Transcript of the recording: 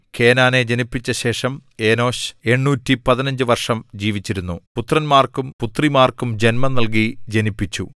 കേനാനെ ജനിപ്പിച്ച ശേഷം എനോശ് 815 വർഷം ജീവിച്ചിരുന്നു പുത്രന്മാർക്കും പുത്രിമാർക്കും ജന്മം നൽകി ജനിപ്പിച്ചു